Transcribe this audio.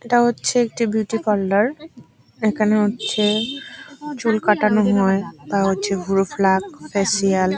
এটা হচ্ছে একটা বিউটি পার্লার এখানে হচ্ছে চুল কাটানো হয় বা হচ্ছে ভ্রু প্লাগ ফেসিয়াল --